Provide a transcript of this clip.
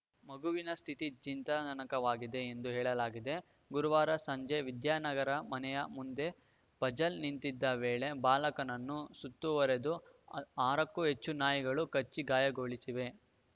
ಮಗುವಿನ ಸ್ಥಿತಿ ಚಿಂತಾನನಕವಾಗಿದೆ ಎಂದು ಹೇಳಲಾಗಿದೆ ಗುರುವಾರ ಸಂಜೆ ವಿದ್ಯಾನಗರದ ಮನೆಯ ಮುಂದೆ ಫಝಲ್‌ ನಿಂತಿದ್ದ ವೇಳೆ ಬಾಲಕನನ್ನು ಸುತ್ತುವರೆದ ಆ ಆರಕ್ಕೂ ಹೆಚ್ಚು ನಾಯಿಗಳು ಕಚ್ಚಿ ಗಾಯಗೊಳಿಸಿವೆ